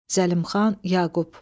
Zəlimxan Yaqub.